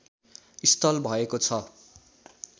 स्थल भएको छ